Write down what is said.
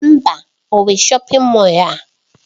Mba! O nwe shọpin Mọll a.